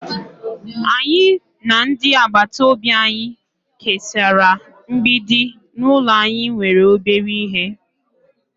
anyi na ndi agbata obi anyi kesara mgbidi n'ulo anyi nwere obere ihe